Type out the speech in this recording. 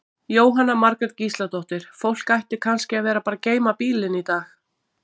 Jóhanna Margrét Gísladóttir: Fólk ætti kannski að vera að bara geyma bílinn í dag?